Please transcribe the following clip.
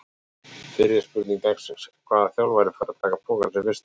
Fyrri spurning dagsins: Hvaða þjálfari fær að taka pokann sinn fyrstur?